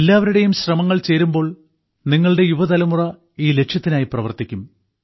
എല്ലാവരുടെയും ശ്രമങ്ങൾ ചേരുമ്പോൾ നിങ്ങളുടെ യുവതലമുറ ഈ ലക്ഷ്യത്തിനായി പ്രവർത്തിക്കും